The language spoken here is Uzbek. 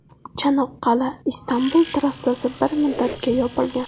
Chanoqqal’aIstanbul trassasi bir muddatga yopilgan.